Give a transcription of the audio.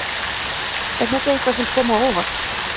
Er þetta eitthvað sem kom á óvart?